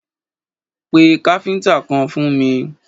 Pé káfíntà kan fún mi!